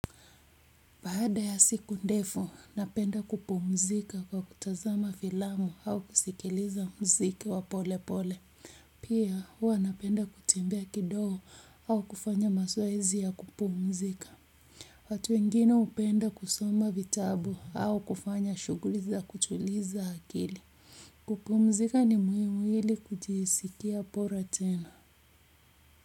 Baada ya siku ndefu, napenda kupumzika kwa kutazama filamu au kusikiliza mziki wa pole pole. Pia huwa napenda kutembea kidogo au kufanya mazoezi ya kupumzika. Watu wengine hupenda kusoma vitabu au kufanya shughuli za kutuliza akili. Kupumzika ni muhimu ili kujiskia bora tena.